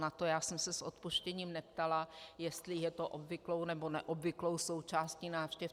Na to já jsem se s odpuštěním neptala, jestli je to obvyklou, nebo neobvyklou součástí návštěv.